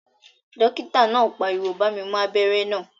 Dókítà náà pariwo "bá mi mú abẹ́rẹ́ náà